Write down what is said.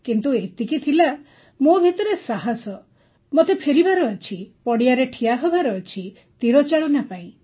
କିନ୍ତୁ ଏତିକି ତ ଥିଲା ମୋ ଭିତରେ ସାହସ ଥିଲା ଯେ ମୋତେ ଫେରିବାର ଅଛି ପଡ଼ିଆରେ ଠିଆ ହେବାର ଅଛି ତୀରଚାଳନା ପାଇଁ